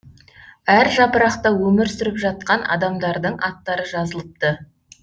әр жапырақта өмір сүріп жатқан адамдардың аттары жазылыпты